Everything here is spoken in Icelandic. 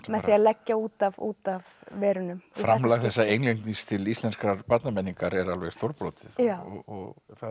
því að leggja út af út af verunum framlag þessa til íslenskrar barnamenningar er alveg stórbrotið og